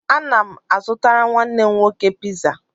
Ana m azụtara nwanne m nwoke piza